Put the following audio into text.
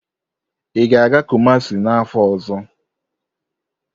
Ị ga-aga Kumasi n'afọ ọzọ?